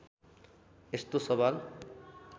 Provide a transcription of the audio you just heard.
यस्तो सवाल